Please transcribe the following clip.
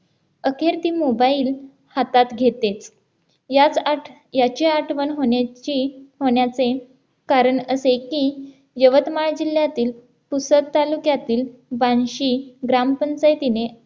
अखेर ती mobile हातात घेते याचा अर्थ याची आठवण होण्याची होण्याचे कारण असे की यवतमाळ जिल्ह्यातील पुसद तालुक्यातील बार्शी ग्रामपंचायतीने